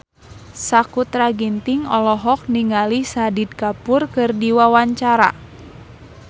Sakutra Ginting olohok ningali Shahid Kapoor keur diwawancara